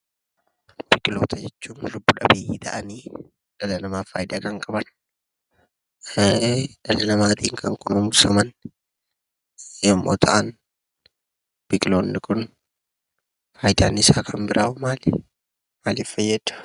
Biqiltoota jechuun lubbu dhabeeyyii ta'anii, dhala namaaf faayidaa kan qaban, dhala namaatiin kan qorumsaman yommuu ta'an, biqiloonni kun faayidaan isaa kan biraaho maali? Maaliif fayyadu?